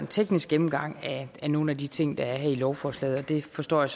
teknisk gennemgang af nogle af de ting der er her i lovforslaget og det forstår jeg